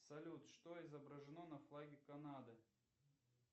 салют что изображено на флаге канады